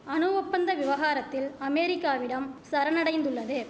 அணு ஒப்பந்த விவகாரத்தில் அமேரிக்காவிடம் சரண் அடைந்துள்ளது